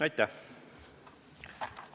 Aitäh!